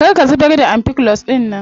Kar ka zubar da ampiclox dinnan.